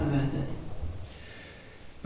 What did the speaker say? Panie przewodniczący, panie komisarzu!